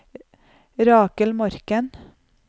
Rakel Morken